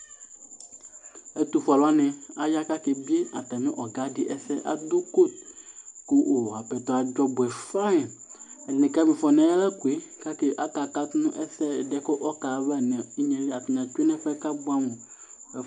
Ɛtufue aluwani aya k'aka ebie atamì ɔga di ɛsɛ , adu kotu ku apɛtɔ adzɔ ɔbuɛ fain, ɛdini ka ma ifɔ n'ayalakoe k'aka katu n'ɛsɛ̃, ɛdi yɛ k'ɔka ha ava n'inyéli, atani atsue nu ɛfuɛ k'abuamu